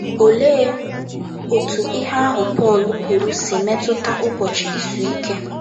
Olee otú ihe ahụ Pọl kwuru si metụta Ụbọchị Izu Ike?